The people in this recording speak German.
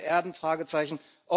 Seltene Erden Fragezeichen.